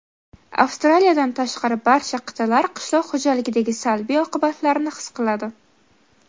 Avstraliyadan tashqari barcha qit’alar qishloq xo‘jaligidagi salbiy oqibatlarni his qiladi.